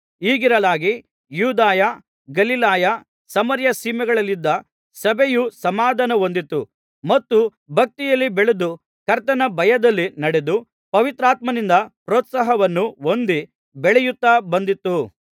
ಹೀಗಿರಲಾಗಿ ಯೂದಾಯ ಗಲಿಲಾಯ ಸಮಾರ್ಯ ಸೀಮೆಗಳಲ್ಲಿದ್ದ ಸಭೆಯು ಸಮಾಧಾನ ಹೊಂದಿತು ಮತ್ತು ಭಕ್ತಿಯಲ್ಲಿ ಬೆಳೆದು ಕರ್ತನ ಭಯದಲ್ಲಿ ನಡೆದು ಪವಿತ್ರಾತ್ಮನಿಂದ ಪ್ರೋತ್ಸಾಹವನ್ನು ಹೊಂದಿ ಬೆಳೆಯುತ್ತಾ ಬಂದಿತು